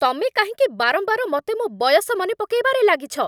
ତମେ କାହିଁକି ବାରମ୍ବାର ମତେ ମୋ' ବୟସ ମନେ ପକେଇବାରେ ଲାଗିଛ?